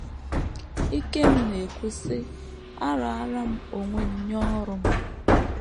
Ikem na - ekwu, sị: “ Araara m onwe m nye ọrụ m.